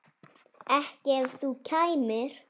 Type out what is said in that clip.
Ekki ef þú kæmir.